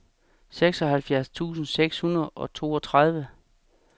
seksoghalvfjerds tusind seks hundrede og toogtredive